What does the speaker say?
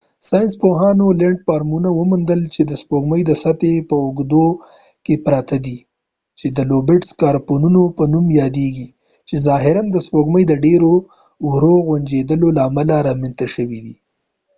ساینس پوهانو لينډفارمونه موندلي چې د سپوږمۍ د سطحې په اوږدو کې پراته دي چې د لوبیټ سکارپونو په نوم یادیږي چې ظاهراََ د سپوږمۍ د ډير ورو غونجېدلو له امله رامنځته شوي دي